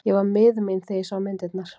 Ég var miður mín þegar ég sá myndirnar.